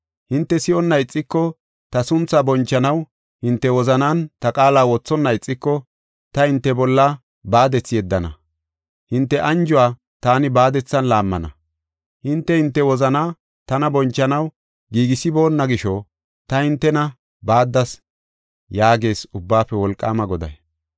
Hinte si7onna ixiko; ta sunthaa bonchanaw hinte wozanan ta qaala wothonna ixiko, ta hinte bolla baadethi yeddana; hinte anjuwa taani baadethan laammana. Hinte hinte wozana tana bonchanaw giigisiboonna gisho, ta hintena baaddas” yaagees Ubbaafe Wolqaama Goday.